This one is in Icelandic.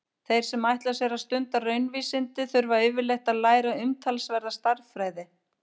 Þeir sem ætla sér að stunda raunvísindi þurfa yfirleitt að læra umtalsverða stærðfræði.